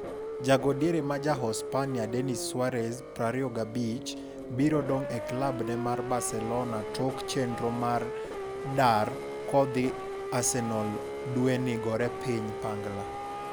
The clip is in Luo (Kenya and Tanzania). Jago diere maja Uhispania Denis Suarez, 25, biro dong' e klab ne mar Barcelona tok chenro mar dar ko dhi Arsenal dweni gore piny pangla